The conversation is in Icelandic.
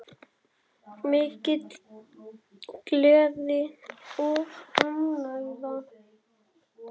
Mikil gleði og ánægja.